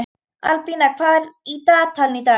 Albína, hvað er í dagatalinu í dag?